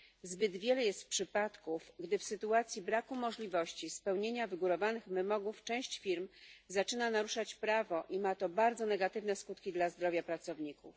Zbyt wiele jest przypadków, gdy w sytuacji braku możliwości spełnienia wygórowanych wymogów część firm zaczyna naruszać prawo, i ma to bardzo negatywne skutki dla zdrowia pracowników.